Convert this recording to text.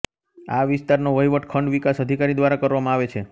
આ વિસ્તારનો વહિવટ ખંડ વિકાસ અધિકારી દ્વારા કરવામાં આવે છે